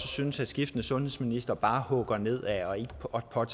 syntes at skiftende sundhedsministre bare hugger nedad og